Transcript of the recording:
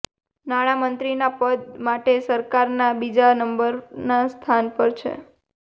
નાણાં મંત્રીના પદ માટે સરકારના બીજા નંબરના સ્થાન પર છે